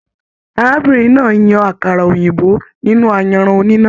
Arábìnrin náà yan àkàrà òyìnbó nínú ayanran oníná.